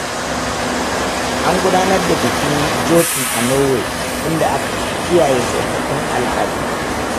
An gudanar da bikin Jotun a Norway inda aka kiyaye tsofaffin al’adu.